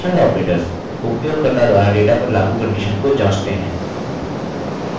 conditional operators उपयोगकर्ता द्वारा data पर लागू condition को जाँचते हैं